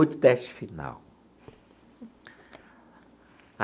Oito teste final.